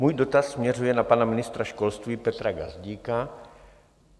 Můj dotaz směřuje na pana ministra školství Petra Gazdíka.